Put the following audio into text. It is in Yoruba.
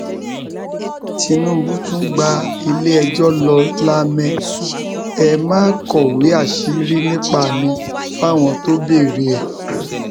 tinubu tún gba iléẹjọ lọ lamẹ ẹ má kọwéé àṣírí nípa mi fáwọn tó béèrè ẹ o